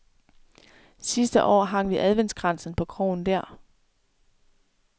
Sidste år hang vi adventskransen på krogen der.